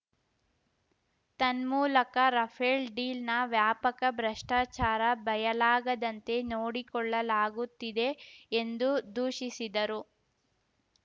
ತನ್ಮೂಲಕ ರಫೇಲ್‌ ಡೀಲ್‌ನ ವ್ಯಾಪಕ ಭ್ರಷ್ಟಾಚಾರ ಬಯಲಾಗದಂತೆ ನೋಡಿಕೊಳ್ಳಲಾಗುತ್ತಿದೆ ಎಂದು ದೂಷಿಸಿದರು